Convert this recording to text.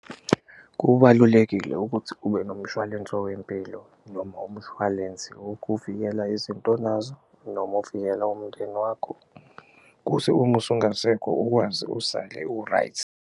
Kubalulekile ukuthi ube nomshwalense owempilo noma umshwalensi wokuvikela izinto onazo noma ovikela umndeni wakho, kuse uma usungasekho ukwazi usale u-right.